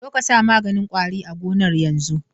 Zo ka sa maganin kwari a gonan yanzun.